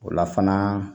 O la fana